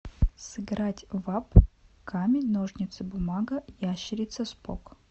сыграть в апп камень ножницы бумага ящерица спок